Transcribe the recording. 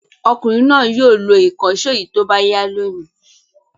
Ọkùnrin náà yóò lo ìkànṣó yìí tó bá yá lónìí.